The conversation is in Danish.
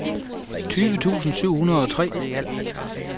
tyve tusind syv hundrede og tre